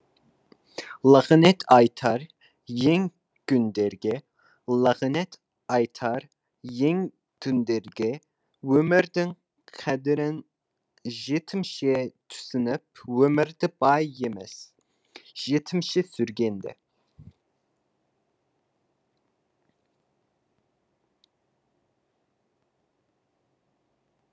лағынет айтар ең күндерге лағынет айтар ең түндерге өмірдің қадірін жетімше түсініп өмірді бай емес жетімше сүргенде